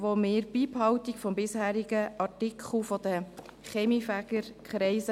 Wir wollen die Beibehaltung des bisherigen Artikels 11 mit den Kaminfegerkreisen.